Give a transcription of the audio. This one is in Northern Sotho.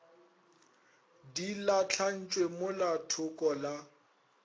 di lahlantšwe mola thoko la